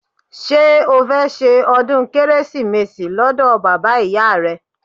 Ṣé o fẹ́ ṣe ọdún Kérésìmesì lọ́dọ̀ bàbá ìyá rẹ?